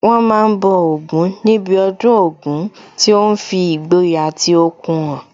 Wọ́n ma ń bọ Ògún níbi ọdún Ògún tí ó ń fi ìgboyà àti okun hàn